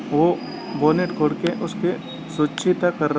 वो बोनेट खोल के उसपे कर--